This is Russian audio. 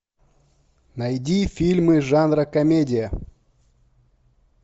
найди фильмы жанра комедия